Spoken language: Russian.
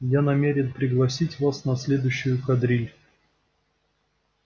я намерен пригласить вас на следующую кадриль